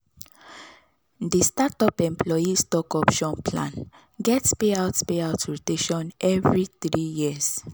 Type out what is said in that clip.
di startup employee stock option plan get payout payout rotation every three years.